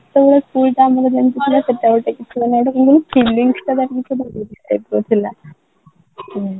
ସେତେବେଳେ school ଟା ଆମର ଯେମିତି ଥିଲା ସେତେବେଳେ ତ କିଛି ହଉନାହାନ୍ତି କ'ଣ କହିଲୁ feelings ଟା ଥିଲା